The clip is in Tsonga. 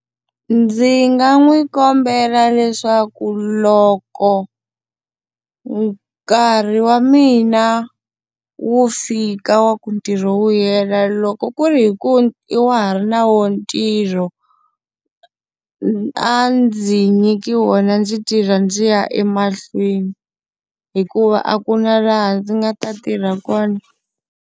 Ndzi nga n'wi kombela leswaku loko nkarhi wa mina wu fika wa ku ntirho wu hela loko ku ri hi ku wa ha ri na wona ntirho, a ndzi nyiki wona ndzi tirha ndzi ya emahlweni hikuva a ku na laha ndzi nga ta tirha kona.